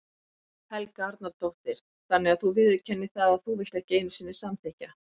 Helga Arnardóttir: Þannig að þú viðurkennir það að þú vilt ekki einu sinni samþykkja?